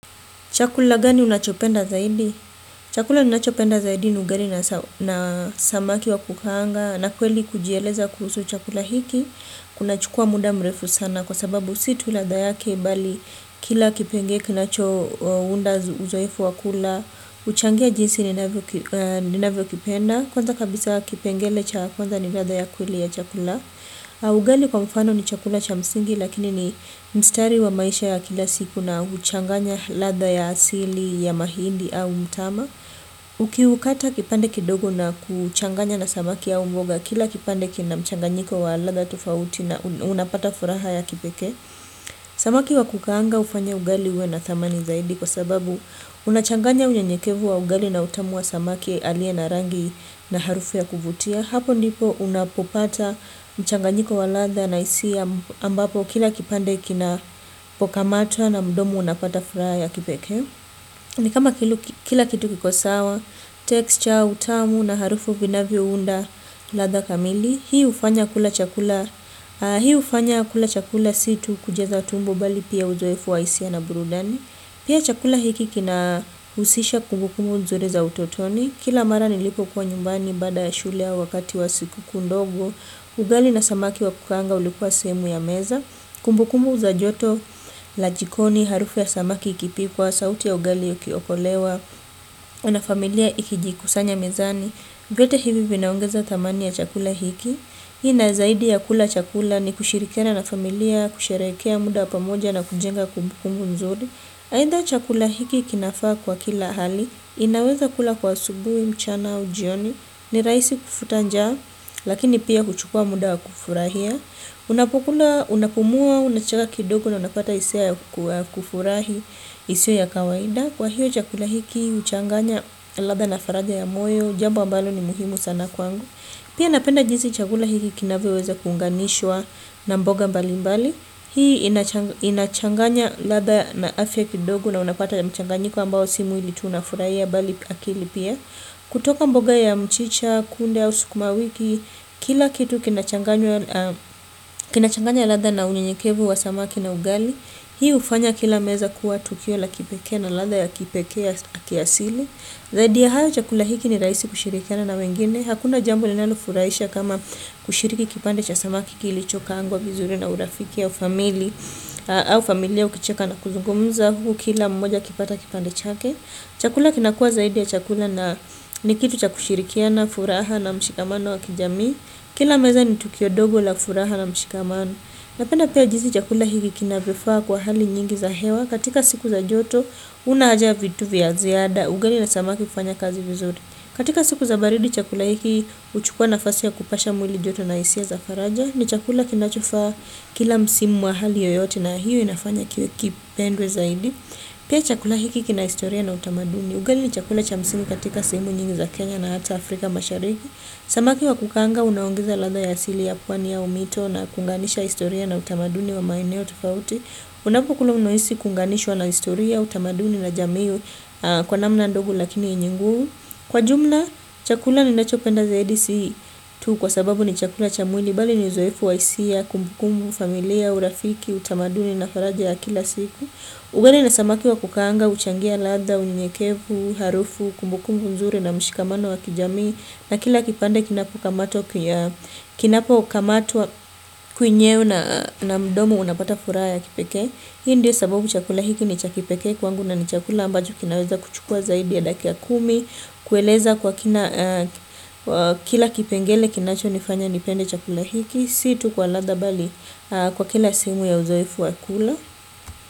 Chakula gani unachopenda zaidi? Chakula ninachopenda zaidi ni ugali na samaki wa kukaanga na kweli kujieleza kuhusu chakula hiki. Kunachukua muda mrefu sana kwa sababu si tu ladha yake bali kila kipenge kinachounda uzoefu wa kula. Huchangia jinsi ninavyokipenda. Kwanza kabisa kipengele cha kwanza ni ladha ya kweli ya chakula. Ugali kwa mfano ni chakula cha msingi lakini ni mstari wa maisha ya kila siku na huchanganya ladha ya asili ya mahindi au mtama. Ukiukata kipande kidogo na kuuchanganya na samaki au mboga kila kipande kina mchanganyiko wa ladha tofauti na unapata furaha ya kipekee. Samaki wa kukaanga hufanya ugali uwe na thamani zaidi kwa sababu unachanganya uyenyekevu wa ugali na utamu wa samaki aliye na rangi na harufu ya kuvutia hapo ndipo unapopata mchanganyiko wa ladha na hisia ambapo kila kipande kinapokamatwa na mdomo unapata fraha ya kipeke ni kama kila kitu kiko sawa, texture, utamu na harufu vinavyounda ladha kamili hii hufanya kula chakula si tu kujaza tumbo bali pia uzoefu wa hisia na burudani pia chakula hiki kinahusisha kumbukumu nzuri za utotoni. Kila mara nilipokua nyumbani baada ya shule au wakati wa siku kuu ndogo. Ugali na samaki wa kukaanga ulikuwa sehemu ya meza. Kumbukumu za joto la jikoni harufu ya samaki ikipikwa sauti ya ugali ikiokolewa na familia ikijikusanya mezani vyote hivi vinaongeza thamani ya chakula hiki. Ina zaidi ya kula chakula ni kushirikiana na familia kusherekea muda wa pamoja na kujenga kumbukumu nzuri. Aidha chakula hiki kinafaa kwa kila hali. Inaweza kula kwa asubuhi mchana au jioni. Ni rahisi kufuta njaa. Lakini pia huchukua muda wa kufurahia. Unapokula unapumua unacheka kidogo na unapata hisia ya kufurahi. Isio ya kawaida. Kwa hiyo chakula hiki huchanganya ladha na faraja ya moyo. Jambo ambalo ni muhimu sana kwangu. Pia napenda jinsi chakula hiki kinavyoweza kuunganishwa na mboga mbalimbali. Hii inachanganya ladha na afya kidogo na unapata ya mchanganyiko ambao si mwili tu unafurahia bali akili pia. Kutoka mboga ya mchicha, kunde au sukumawiki, kila kitu kinachanganya ladha na unyenyekevu wa samaki na ugali, hii hufanya kila meza kuwa tukio la kipekee na ladha ya kipekee ya kiasili. Zaidi ya hayo chakula hiki ni rahisi kushirikiana na wengine. Hakuna jambo linalofurahisha kama kushiriki kipande cha samaki kilichokaangwa vizuri na urafiki au famili au familia ukicheka na kuzungumza huku kila mmoja akipata kipande chake chakula kinakua zaidi ya chakula ni kitu cha kushirikiana furaha na mshikamano wa kijamii kila meza ni tukio dogo la furaha na mshikamano. Napenda pia jinzi chakula hiki kinavyofaa kwa hali nyingi za hewa. Katika siku za joto huna haja ya vitu vya ziada ugali na smaki hufanya kazi vizuri katika siku za baridi chakula hiki huchukua nafasi ya kupasha mwili joto na hisia za faraja. Ni chakula kinachofaa. Kila msimu wa hali yoyote na hiyo inafanya kiwe kipendwe zaidi. Pia chakula hiki kina historia na utamaduni. Ugali ni chakula cha msimu katika sehemu nyingi za Kenya na hata Afrika mashariki. Samaki wa kukaanga unaongeza ladha ya asili ya pwani au mito. Na kuunganisha historia na utamaduni wa maeneo tofauti. Unapokula unahisi kuunganishwa na historia, utamaduni na jamii. Kwa namna ndogo lakini yenye nguvu. Kwa jumla chakula ninachopenda zaidi si tu kwa sababu ni chakula cha mwili bali ni uzoefu wa hisia, kumbukumu, familia, urafiki, utamaduni na faraja ya kila siku. Ugali na samaki wa kukaanga, huchangia ladha, unyenyekevu, harufu, kumbukumbu nzuri na mshikamano wa kijami. Na kila kipande kinapokamatwa kwenyeo na mdomo unapata furaha ya kipeke. Hii ndio sababu chakula hiki ni cha kipekee kwangu na ni chakula ambacho kinaweza kuchukua zaidi ya dakika kumi. Kueleza kwa kina kila kipengele kinachonifanya nipende chakula hiki. Si tu kwa ladha bali kwa kila sehemu ya uzoefu wa kula.